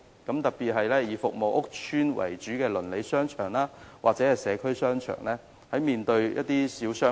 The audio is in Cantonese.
這問題在以服務屋邨為主的鄰里商場或社區商場特別顯著。